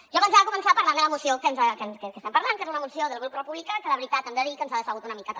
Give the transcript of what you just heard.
jo pensava començar parlant de la moció que estem parlant que és una moció del grup republicà que la veritat hem de dir que ens ha decebut una mica també